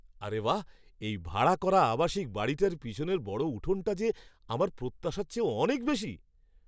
আরে বাহ্! এই ভাড়া করা আবাসিক বাড়িটার পিছনের বড় উঠোনটা যে আমার প্রত্যাশার চেয়েও অনেক বেশি!